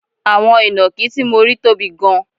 Àwọn inakí tí mo rí tóbi gan